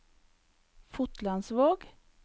Fotlandsvåg